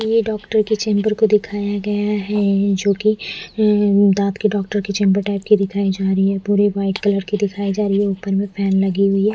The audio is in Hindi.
ये डॉक्टर के चैम्बर को दिखाया गया है जो कि उम्म दांत के डॉक्टर की चैम्बर टाइप दिखाई जा रही है पूरी वाइट कलर की दिखाई जा रही है ऊपर मे फैन लगी हुई है।